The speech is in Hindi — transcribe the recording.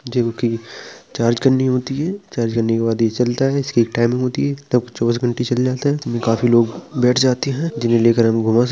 जो कि चार्ज करनी होती है चार्ज करने के बाद ये चलता है। इसकी एक टाइमिंग होती है | तब चौबीस घंटे चल जाता है। इतने में काफी लोग बैठ जाते हैं | जिन्हे लेकर हमलोग घुमा स --